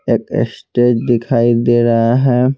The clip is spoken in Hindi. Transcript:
एक स्टेज दिखाई दे रहा है।